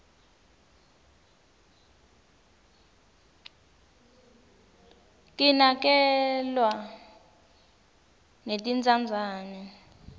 kinakerglwa netintsandzane